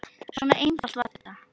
Svona einfalt var þetta.